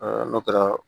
n'o kɛra